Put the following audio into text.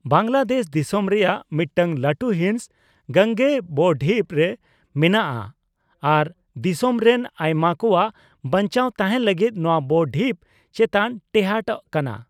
ᱵᱟᱝᱞᱟᱫᱮᱥ ᱫᱤᱥᱚᱢ ᱨᱮᱭᱟᱜ ᱢᱤᱫᱴᱟᱝ ᱞᱟᱹᱴᱩ ᱦᱤᱸᱥ ᱜᱟᱝᱜᱮᱭᱚ ᱵᱼᱰᱷᱤᱯ ᱨᱮ ᱢᱮᱱᱟᱜᱼᱟ ᱟᱨ ᱫᱤᱥᱚᱢ ᱨᱮᱱ ᱟᱭᱢᱟ ᱠᱚᱣᱟᱜ ᱵᱟᱧᱪᱟᱣ ᱛᱟᱦᱮᱸᱱ ᱞᱟᱹᱜᱤᱫ ᱱᱚᱣᱟ ᱵᱼᱰᱷᱤᱯ ᱪᱮᱛᱟᱱ ᱴᱮᱦᱟᱸᱴᱟᱠᱟᱱ ᱾